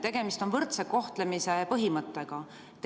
Tegemist on võrdse kohtlemise põhimõttega.